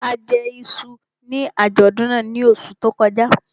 A jẹ iṣu ní àjọ̀dún náà ní oṣù tó kọjá